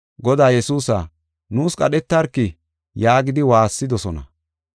“Godaa Yesuusa, nuus qadhetarki” yaagidi waassidosona.